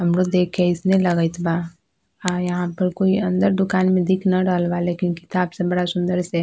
हमरो देख के अइसने लगएत बा हां यहाँ पर कोई अंदर दुकान में दिख ना रहल बा लेकिन किताब सब बड़ा सुंदर से --